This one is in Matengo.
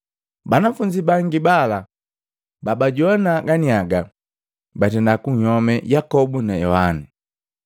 Banafunzi bangi bala babajoana ganiaga, batenda kwayome Yakobu na Yohana.